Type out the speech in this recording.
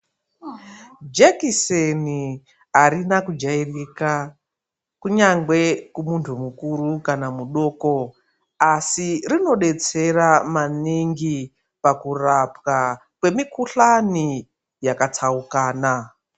Jekiseni arina kujairika kunyangwe kumuntu mukuru kana mudoko, asi rinodetsera maningi pakurapwa kwemikhuhlani yakatsaukana.